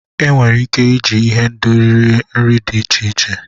Enwere ike iji ihendori rie nri dị iche iche.